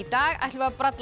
dag ætlum við að bralla